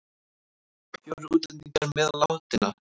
Fjórir útlendingar meðal látinna